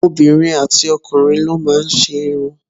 Obìnrin àti ọkùnrin ló má ń ṣe irun